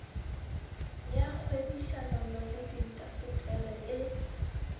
ya kgwebišanono le diintaseteri e